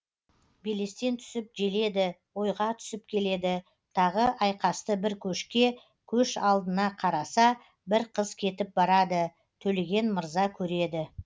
белестен түсіп желеді ойға түсіп келеді тағы айқасты бір көшке көш алдына қараса бір қыз кетіп барады төлеген мырза көреді